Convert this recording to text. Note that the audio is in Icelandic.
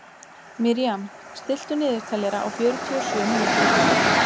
Miriam, stilltu niðurteljara á fjörutíu og sjö mínútur.